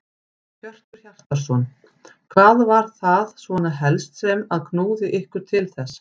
Hjörtur Hjartarson: Hvað var það svona helst sem að knúði ykkur til þess?